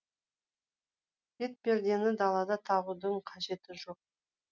бетпердені далада тағудың қажеті жоқ